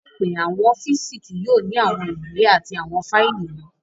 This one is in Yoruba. Laipẹ, awọn ọfiisi kii yoo ni awọn iwe ati awọn faili mọ